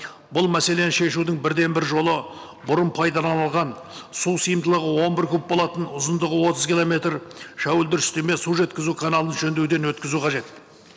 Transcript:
бұл мәселені шешудің бірден бір жолы бұрын пайдаланылған су сиымдылығы он бір куб болатын ұзындығы отыз километр шәуілдір істеме су жеткізу каналын жөндеуден өткізу қажет